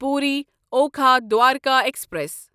Puri Okha Dwarka express